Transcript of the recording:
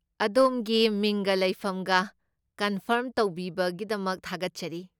ꯑꯗꯣꯝꯒꯤ ꯃꯤꯡꯒ ꯂꯩꯐꯝꯒ ꯀꯟꯐꯥꯔꯝ ꯇꯧꯕꯤꯕꯒꯤꯗꯃꯛ ꯊꯥꯒꯠꯆꯔꯤ꯫